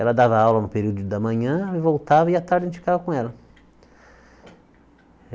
Ela dava aula no período da manhã, voltava e a tarde a gente ficava com ela.